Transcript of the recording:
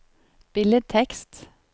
billedtekst